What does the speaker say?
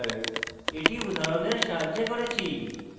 এটি উদাহরণের সাহায্যে করেছি